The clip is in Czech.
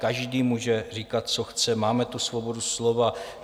Každý může říkat, co chce, máme tu svobodu slova.